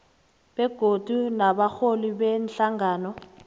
begodu nabarholi beenhlangano